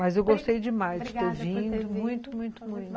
Mas eu gostei demais de ter vindo, obrigada por ter vindo, muito, muito, muito.